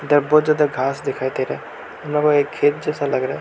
बहुत ज्यादा घास दिखाई दे रहा यहां पर एक खेत जैसा लग रहा --